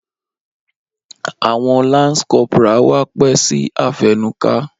Awọn lance corporal wá pẹ si afẹnuka.